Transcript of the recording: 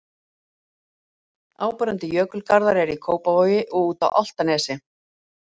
Áberandi jökulgarðar eru í Kópavogi og úti á Álftanesi.